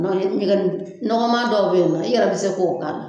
Dɔnke i kun be ka nin ɲɔgɔnma dɔw be yen nɔ i yɛrɛ be se k'o k'a la